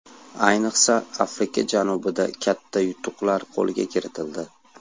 Ayniqsa Afrika janubida katta yutuqlar qo‘lga kiritildi.